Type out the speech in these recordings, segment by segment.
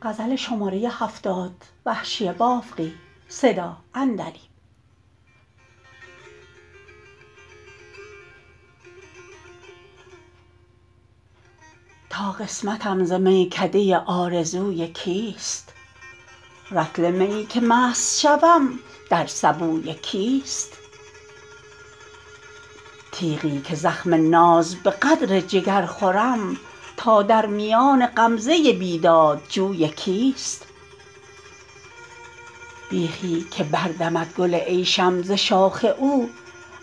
تا قسمتم ز میکده آرزوی کیست رطل میی که مست شوم در سبوی کیست تیغی که زخم ناز به قدر جگر خورم تا در میان غمزه بیداد جوی کیست بیخی که بردمد گل عیشم ز شاخ او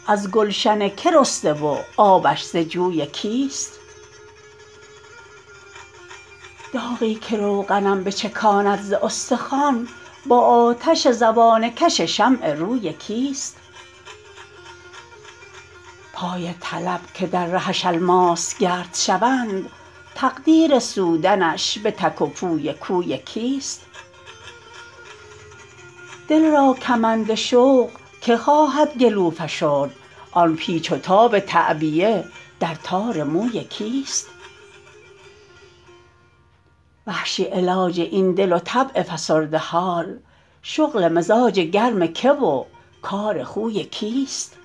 از گلشن که رسته و آبش ز جوی کیست داغی که روغنم بچکاند ز استخوان با آتش زبانه کش شمع روی کیست پای طلب که در رهش الماس گرد شد تقدیر سودنش به تک و پوی کوی کیست دل را کمند شوق که خواهد گلو فشرد آن پیچ و تاب تعبیه در تار موی کیست وحشی علاج این دل و طبع فسرده حال شغل مزاج گرم که و کار خوی کیست